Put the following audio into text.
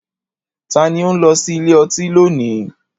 Ta ni ó ń lọ sí ilé ọtí lónìí?